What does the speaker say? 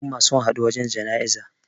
al'umma sun haɗu wajen janaiza